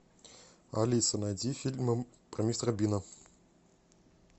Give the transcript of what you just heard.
алиса найди фильмы про мистера бина